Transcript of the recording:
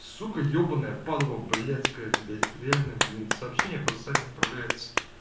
сука ебанная падла блядская блять реально блин сообщения просто сами отправляются